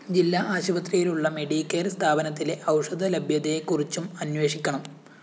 ജില്ലാ ആശുപത്രിയിലുള്ള മെഡിക്കെയർ സ്ഥാപനത്തിലെ ഔഷധ ലഭ്യതയെ കുറിച്ചും അനേ്വഷിക്കണം